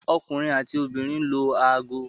Ọkunrin ati obinrin lo aago